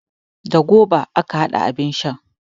Da gwaiba aka hada abin shan.